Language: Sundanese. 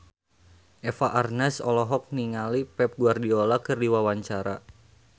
Eva Arnaz olohok ningali Pep Guardiola keur diwawancara